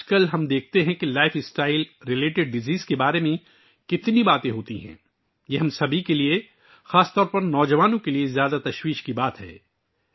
آج کل ہم دیکھتے ہیں کہ طرز زندگی سے متعلق بیماریوں کے بارے میں کتنی باتیں ہوتی ہیں، یہ ہم سب کے لیے خاص طور پر نوجوانوں کے لیے انتہائی تشویشناک بات ہے